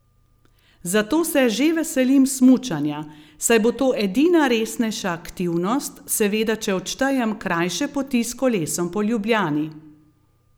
Zato se že veselim smučanja, saj bo to edina resnejša aktivnost, seveda če odštejem krajše poti s kolesom po Ljubljani.